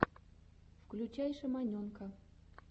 включай шаманенка